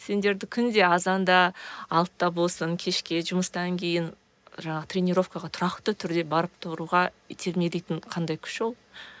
сендерді күнде азанда алтыда болсын кешке жұмыстан кейін жаңағы тренеровкаға тұрақты түрде барып тұруға итермелейтін қандай күш ол